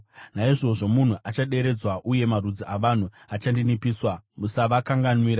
Naizvozvo munhu achaderedzwa uye marudzi avanhu achaninipiswa, musavakanganwira.